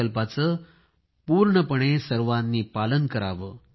या संकल्पाचे पूर्णतेने सर्वांनी पालन करावे